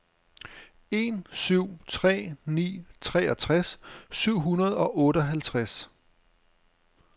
en syv tre ni treogtres syv hundrede og otteoghalvtreds